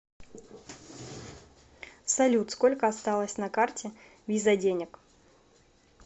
салют сколько осталось на карте виза денег